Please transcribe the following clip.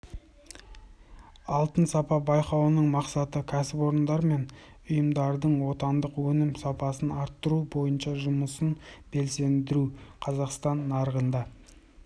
алтын сапа байқауының мақсаты кәсіпорындар мен ұйымдардың отандық өнім сапасын арттыру бойынша жұмысын белсендіру қазақстан нарығында